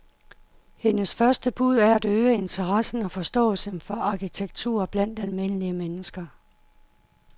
Hendes første bud er at øge interessen og forståelsen for arkitektur blandt almindelige mennesker.